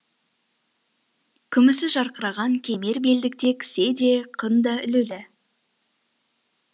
күмісі жарқыраған кемер белдікте кісе де қын да ілулі